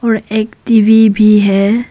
और एक टी_वी भी है।